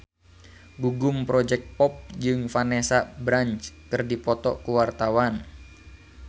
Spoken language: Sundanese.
Gugum Project Pop jeung Vanessa Branch keur dipoto ku wartawan